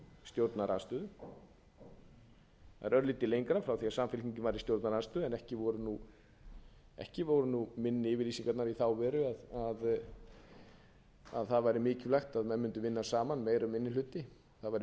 stjórnarandstöðu það er örlítið lengra frá því að samfylkingin var í stjórnarandstöðu en ekki voru minni yfirlýsingarnar í þá veru að það væri mikilvægt að menn mundu vinna saman meiri og minni hluti það væri nauðsynlegt